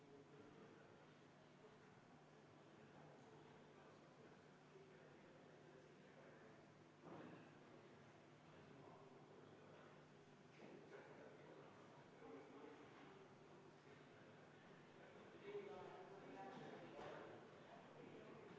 Ma palun EKRE fraktsiooni nimel seda muudatusettepanekut hääletada, enne hääletamist viia läbi ka kohaloleku kontroll ja enne seda ma palun hea tahte märgina vaheaega üheksa minutit.